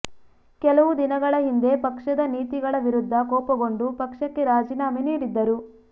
ಕೆಲವು ದಿನಗಳ ಹಿಂದೆ ಪಕ್ಷದ ನೀತಿಗಳ ವಿರುದ್ಧ ಕೋಪಗೊಂಡು ಪಕ್ಷಕ್ಕೆ ರಾಜೀನಾಮೆ ನೀಡಿದ್ದರು